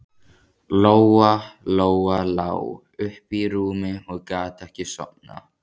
Lóa Lóa lá uppi í rúmi og gat ekki sofnað.